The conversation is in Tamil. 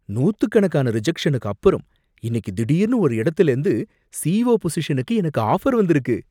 நூத்துக்கணக்கான ரிஜக்ஷனுக்கு அப்புறம், இன்னக்கி திடீர்னு ஒரு இடத்துலேந்து இருந்து சிஇஓ பொசிஷனுக்கு எனக்கு ஆஃபர் வந்திருக்கு.